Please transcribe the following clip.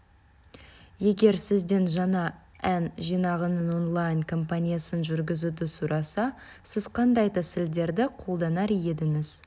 егер сізден жаңа ән жинағының онлайн компаниясын жүргізуді сұраса сіз қандай тәсілдерді қолданар едіңіз